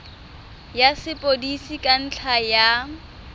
ya sepodisi ka ntlha ya